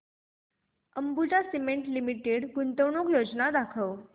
Ambuja Cement Limited गुंतवणूक योजना दाखव